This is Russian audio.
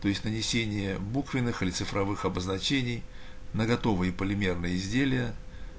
то есть нанесение буквенных и цифровых обозначений на готовые полимерные изделия